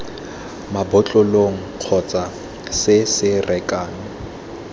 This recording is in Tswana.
mabotlolong kgotsa se se rekang